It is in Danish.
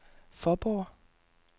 Fåborg